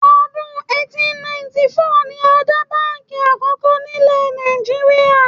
Ọdún 1894 ni a dá báǹkì Àkọ́kọ́ nílẹ̀ Nàìjíríà